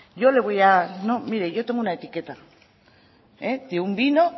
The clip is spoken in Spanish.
yo le voy a no mire yo tengo una etiqueta de un vino